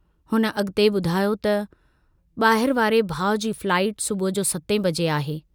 हुन अग॒ते बुधायो त, "बाहिर वारे भाउ जी फ्लाईट सुबुह जो 7 बजे आहे।